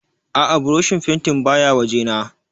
A'a burushin fentin baya wajena